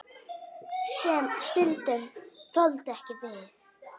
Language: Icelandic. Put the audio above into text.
Sem stundum þoldu ekki við.